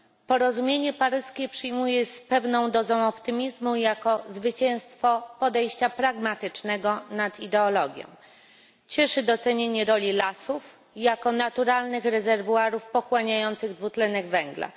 Porozumienie paryskie przyjmuję z pewną dozą optymizmu jako zwycięstwo podejścia pragmatycznego nad ideologią. Cieszy docenienie roli lasów jako naturalnych rezerwuarów pochłaniających dwutlenek węgla.